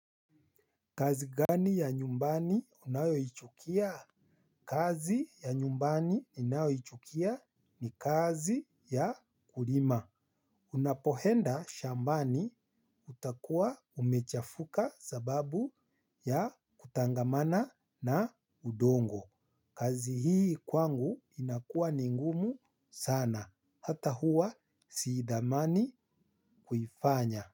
Kazi gani ya nyumbani unayoichukia? Kazi ya nyumbani ninayoichukia ni kazi ya kulima. Unapoenda shambani utakua umechafuka sababu ya kutangamana na udongo. Kazi hii kwangu inakua ni ngumu sana hata huwa siithamani kuifanya.